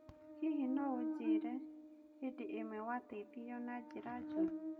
Hihi no ũnjĩĩre hĩndĩ ĩmwe wateithirio na njĩra njũru?